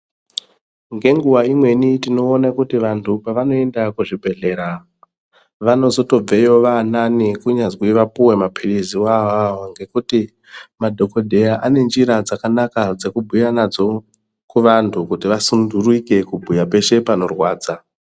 Ngenguwa imweni tinoona kuti vantu pevanoenda kuzvibhedhlera, vanotozobveyo vaanani kunyazwi vapiwe maphiritsi awaawawo ngekuti madhogodheya anenjira dzakanaka dzekubhuya nadzo kuvantu kuti vasundurike kubhuya peshe panorwadza.